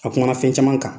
A kumana fɛn caman kan